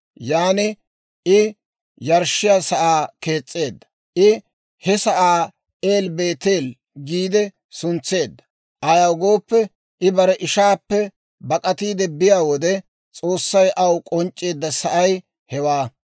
Yan I yarshshiyaa sa'aa kees's'eedda; I he sa'aa El-Beeteele giide suntseedda; ayaw gooppe, I bare ishaappe bak'atiide biyaa wode, S'oossay aw k'onc'c'eedda sa'ay hewaa.